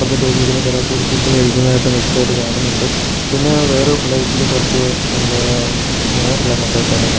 ഇപ്പറത്തെ ടേബിളിലിരുന്ന് കൊറെപേര് ഫുഡ് കഴിക്കുന്നത് ആയിട്ട് വ്യക്തമായിട്ട് കാണുന്നുണ്ട് പിന്നെ വേറെ പ്ലേറ്റില് കുറച്ച് എന്താ മോരെല്ലാം കൊണ്ടു വെച്ചതായിട്ടും കാ--